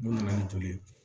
Mun nana ni joli ye